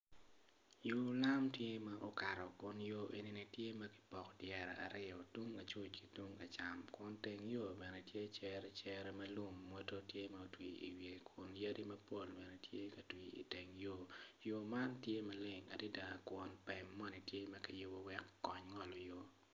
Yoo lam tye ma okat kun yo enini tye ma kipoko dyere aryo tung lacuc ki tung lacam kun teng yoo bene tye cere cere ma lum mwoto tye ma otwii owiye kunu yadi mapol bene tye ka twii iteng yoo yoo man tye maleng adida kun pem moni tye ma kiyubu wek okony ngolo yoo